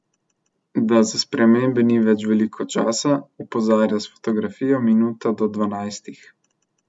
Da za spremembe ni več veliko časa, opozarja s fotografijo Minuta do dvanajstih.